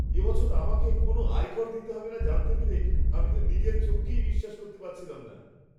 এ বছর আমাকে কোনও আয়কর দিতে হবে না জানতে পেরে আমি তো নিজের চোখকেই বিশ্বাস করতে পারছিলাম না!